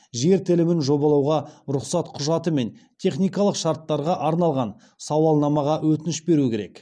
жер телімін жобалауға рұқсат құжаты мен техникалық шарттарға арналған сауалнамаға өтініш беру керек